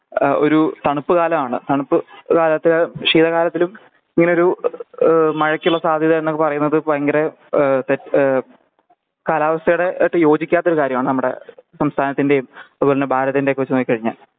ഏഹ് ഒരു തണുപ്പ് കലാണ് തണുപ്പ് ഏഹ് അല്ലാത്ത വൃഷിക കാലത്തിലും ഇങ്ങനൊരു ഏഹ് മഴക്കുള്ള സാധ്യത എന്നൊക്കെ പറയുന്നത് ഭയങ്കര ഏഹ് തെ ഏഹ് കാലാവസ്ഥേടെ ആയിട്ട് യോജിക്കാത്തൊരു കാര്യമാണ് നമ്മടെ സംസഥാനത്തിന്റെയും അതുപോലെന്നെ ഭാരതിന്റെ ഒക്കെ വെച്ച് നോക്കി കഴിഞ്ഞ